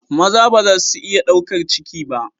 Maza ba za su iya ɗaukar ciki ba.